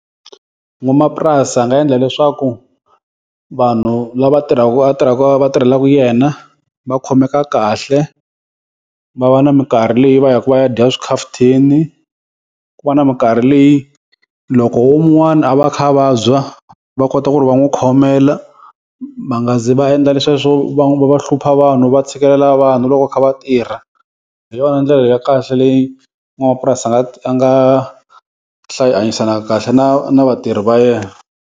N'wamapurasi a nga endla leswaku vanhu lava tirhaku a tirhaku va va tirhelaku yena, va khomeka kahle va va na minkarhi leyi va ya ka va ya dya swikhafuthini ku va na minkarhi leyi loko wun'wana a va a kha a vabya, va kota ku ri va n'wi khomela va nga zi va endla leswiya swo va va hlupha vanhu va tshikelela vanhu loko va kha va tirha, hi yona ndlela ya kahle leyi n'wamapurasi a nga a nga hanyisana kahle na na vatirhi va yena.